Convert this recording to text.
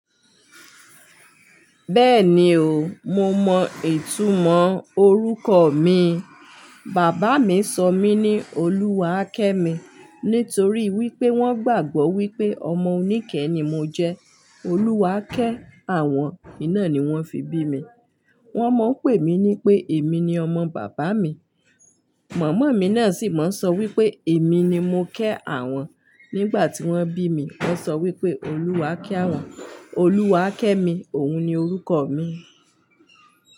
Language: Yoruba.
Bẹ́ẹ̀ni o, mo mọ ìtumọ̀ orúkọ mi. Bàbá mi sọ mí ní Oluwakemi, nítorí wípé wón gbàgbọ́ wípé ọmọ oníkẹ̀ ni mo jẹ́. Oluwa ké àwọn iná ni wón fi bí mi. Wón mọ̀ ń pè mí ní pé èmi ni ọmọ bàbá mi. Màmá mi náà sì máa ń sọ wípé èmi ni mo ké àwọn nígbà tí wón bí mi. Wón sọ wípé Oluwa ké àwọn, Oluwakemi òun ni orúkọ mi.